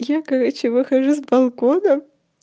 я короче выхожу с балконом